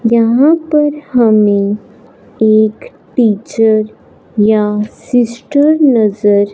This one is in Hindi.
जहां पर हमें एक टीचर या सिस्टर नजर--